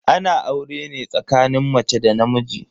Ana aure ne tsakanin mace da namiji.